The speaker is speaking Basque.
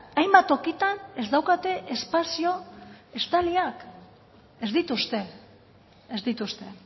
hainbat tokitan ez daukate espazio estaliak ez dituzte ez dituzte